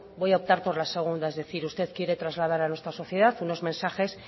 voy a optar por la segunda es decir usted quiere trasladar a nuestra sociedad unos mensajes